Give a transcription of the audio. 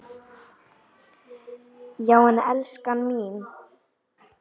Já en elskan mín.